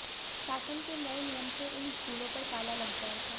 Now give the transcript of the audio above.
शासन के नए नियम से इन स्कूलों पर ताला लग जाएगा